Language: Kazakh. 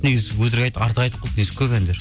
негізі артық айтып қалды негізі көп әндері